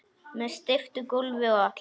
Með steyptu gólfi og allt